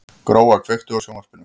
Gróa, kveiktu á sjónvarpinu.